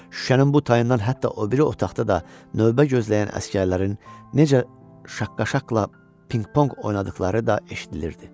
Şüşənin bu tayından hətta o biri otaqda da növbə gözləyən əsgərlərin necə şaqqa-şaqqla pingpong oynadıqları da eşidilirdi.